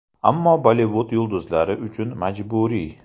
Ammo Bollivud yulduzlari uchun majburiy.